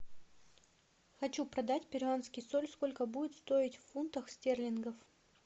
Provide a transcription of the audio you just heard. хочу продать перуанский соль сколько будет стоить в фунтах стерлингов